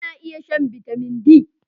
Ba na iya shan Bitamin D.